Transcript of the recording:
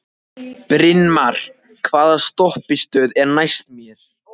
Brynmar, hvaða stoppistöð er næst mér?